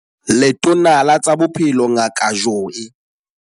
Letona la tsa Bophelo Ngaka Joe.